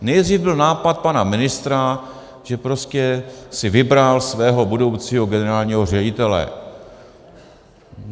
Nejdřív byl nápad pana ministra, že prostě si vybral svého budoucího generálního ředitele.